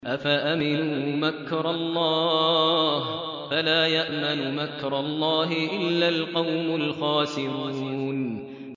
أَفَأَمِنُوا مَكْرَ اللَّهِ ۚ فَلَا يَأْمَنُ مَكْرَ اللَّهِ إِلَّا الْقَوْمُ الْخَاسِرُونَ